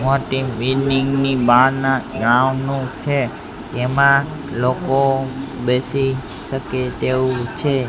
મોટી બિલ્ડીંગ ની બહારના ગ્રાઉન્ડ નું છે એમાં લોકો બેસી શકે તેવું છે.